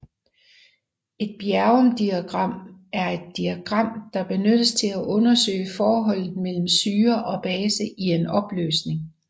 Et bjerrumdiagram er et diagram der benyttes til undersøge forholdet mellem syre og base i en opløsning